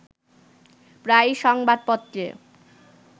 প্রায়ই সংবাদপত্রে